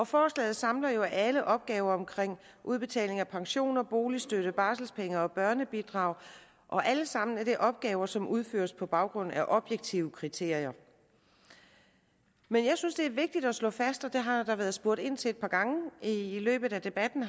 forslaget samler jo alle opgaver omkring udbetaling af pension boligstøtte barselpenge og børnebidrag og alle sammen er opgaver som udføres på baggrund af objektive kriterier men jeg synes at det er vigtigt at slå fast og det har der været spurgt ind til et par gange i i løbet af debatten